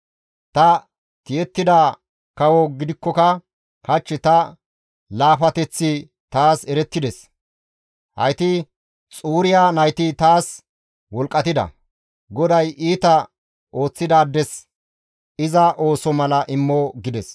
Ta tiyettida kawo gidikkoka hach ta laafateththi taas erettides; hayti Xuriya nayti taas wolqqatida. GODAY iita ooththidaades iza ooso mala immo» gides.